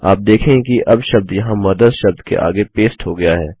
आप देखेंगे कि अब शब्द यहाँ मदर्स शब्द के आगे पेस्ट हो गया है